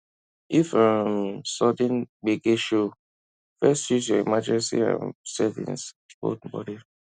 if um sudden gbege show first use your emergency um savings hold body